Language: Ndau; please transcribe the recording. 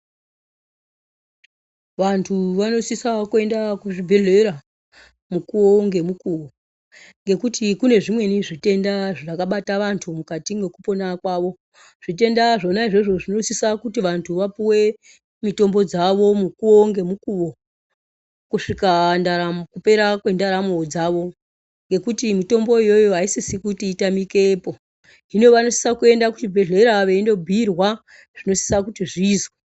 Vantu vanosisawo kuyenda kuzvibhedhlera mukuwo ngemukuwo, ngekuti kune zvimweni zvitenda zvakabata vantu mukati mwekupona kwavo. Zvitenda zvona izvozvo zvinosisa kuti vantu vapuwe mitombo dzavo mukuwo ngemukuwo, kusvika ndaramo kupera kwendaramo dzavo, ngekuti mitombo iyoyo ayisisi kuti itamikepo. Hino vanosisa kuyenda kuchibhedhlera veyindobhuyirwa zvinosisa kuti zviyizwe.